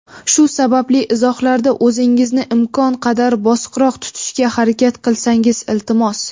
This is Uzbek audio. Shu sababli izohlarda o‘zingizni imkon qadar bosiqroq tutishga harakat qilsangiz, iltimos.